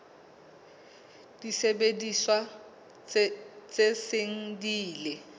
disebediswa tse seng di ile